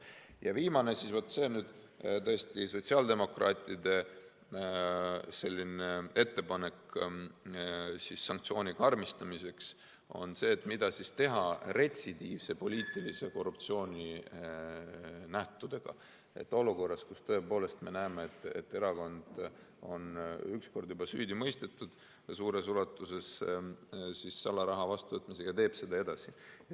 Ja viimasena – see on nüüd tõesti sotsiaaldemokraatide ettepanek sanktsiooni karmistamiseks – on see, mida teha retsidiivse poliitilise korruptsiooni nähtudega olukorras, kus me tõepoolest näeme, et erakond on üks kord juba süüdi mõistetud seoses suures ulatuses salaraha vastuvõtmisega, aga ta teeb seda edasi.